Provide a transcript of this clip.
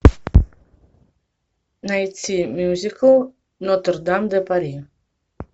найти мюзикл нотр дам де пари